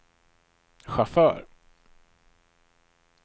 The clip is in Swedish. chaufför